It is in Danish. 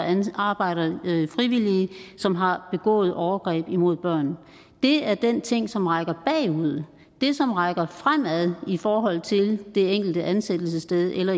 arbejder frivillige som har begået overgreb mod børn det er den ting som rækker bagud det som rækker fremad i forhold til det enkelte ansættelsessted eller